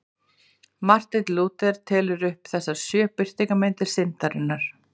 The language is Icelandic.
Marteinn Lúther telur upp þessar sjö birtingarmyndir syndarinnar.